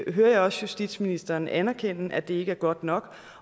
jeg hører også justitsministeren anerkende at det ikke er godt nok